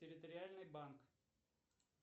территориальный банк